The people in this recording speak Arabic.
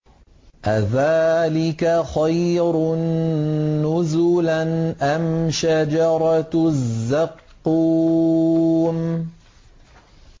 أَذَٰلِكَ خَيْرٌ نُّزُلًا أَمْ شَجَرَةُ الزَّقُّومِ